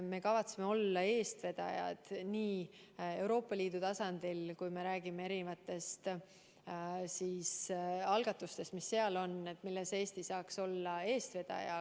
Me kavatseme olla eestvedajad Euroopa Liidu tasandil, kui me räägime erinevatest algatustest, mis seal on ja milles Eesti saaks olla eestvedaja.